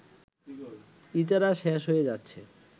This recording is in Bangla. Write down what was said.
ইজারা শেষ হয়ে যাচ্ছে